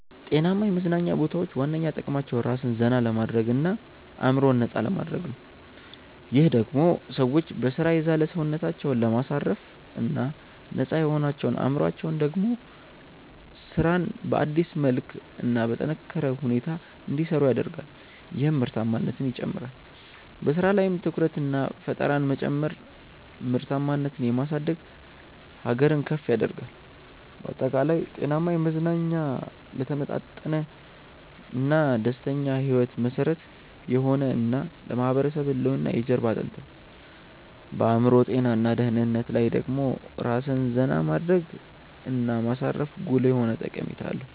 ጤናማ የመዝናኛ ቦታዎች ዋነኛ ጥቅማቸው ራስን ዘና ለማድረግ እና አዕምሮን ነፃ ለማድረግ ነው። ይህም ደሞ ሰዎች በሥራ የዛለ ሰውነታቸውን ለማሳረፍ እና ነፃ የሆነው አዕምሮአቸው ደሞ ስራን በአዲስ መልክ እና በጠነካረ ሁኔታ እንዲሰሩ ያደርጋል ይህም ምርታማነትን ይጨምራል። በሥራ ላይም ትኩረትንና ፈጠራን መጨመር ምርታማነትን የማሳደግ ሀገርን ከፍ ያደርጋል። ባጠቃላይ፣ ጤናማ መዝናኛ ለተመጣጠነና ደስተኛ ሕይወት መሠረት የሆነ እና ለማህበረሰብ ህልውና የጀርባ አጥንት ነው። በአዕምሮ ጤና እና ደህንነት ላይ ደሞ ራስን ዜና ማድረግ እና ማሳረፉ ጉልህ የሆነ ጠቀሜታ አለው።